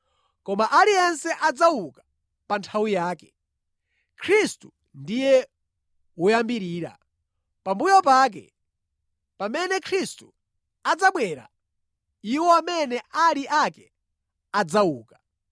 Koma aliyense adzauka pa nthawi yake. Khristu ndiye woyambirira, pambuyo pake, pamene Khristu adzabwera, iwo amene ali ake adzauka.